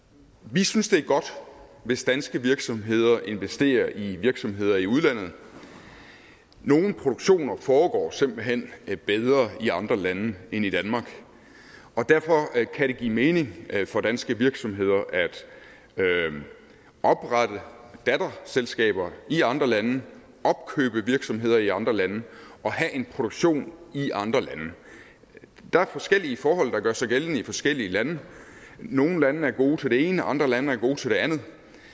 vi synes det er godt hvis danske virksomheder investerer i virksomheder i udlandet nogle produktioner foregår simpelt hen bedre i andre lande end i danmark og derfor kan det give mening for danske virksomheder at oprette datterselskaber i andre lande opkøbe virksomheder i andre lande og have en produktion i andre lande der er forskellige forhold der gør sig gældende i forskellige lande nogle er gode til det ene andre lande er gode til det andet